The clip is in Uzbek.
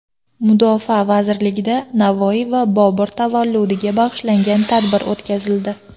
Mudofaa vazirligida Navoiy va Bobur tavalludiga bag‘ishlangan tadbir o‘tkazildi.